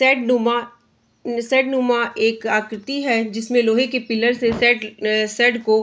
shade नुमा न् shed नुमा एक आकृति है जिसमें लोहे के पिलर से शेडल् न शेड को --